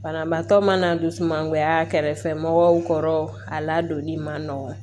Banabaatɔ mana dusumangoya kɛrɛfɛmɔgɔw kɔrɔ a ladonni man nɔgɔn